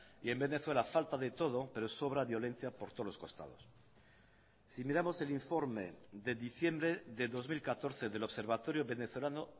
y en venezuela falta de todo pero sobra violencia por todos los costados si miramos el informe de diciembre de dos mil catorce del observatorio venezolano